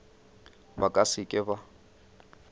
ba ka se ke ba